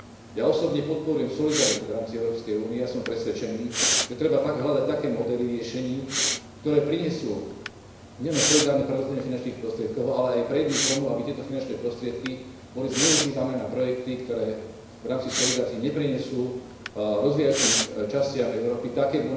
Ja osobne podporujem solidaritu v rámci Európskej únie a som presvedčený, že treba hľadať také modely riešení, ktoré prinesú nielen solidárne prerozdelenie finančných prostriedkov, ale aj predídu tomu, aby tieto finančné prostriedky boli zneužívané na projekty, ktoré v rámci solidarity neprinesú rozvíjajúcim sa častiam Európy také